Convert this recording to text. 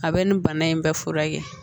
A bɛ nin bana in bɛɛ furakɛ